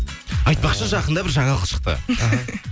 айтпақшы жақында бір жаңалық шықты